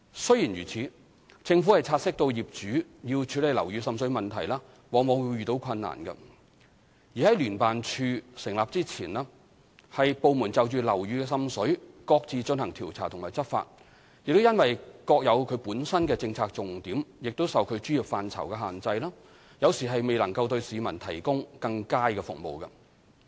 雖然如此，政府察悉到業主要處理樓宇滲水問題往往會遇到困難；而在聯合辦事處成立前由部門就樓宇滲水各自進行調查和執法，亦因各有其政策重點受其專業範疇限制，有時未能對市民提供更佳服務。